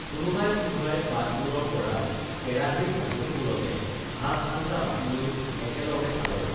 কোনোবাই কোনোবাই পাতবোৰৰ পৰা কেৰাহীৰ ঢাকনিবোৰতে ভাতআঞ্জা বাকি লৈ একেলগে খালে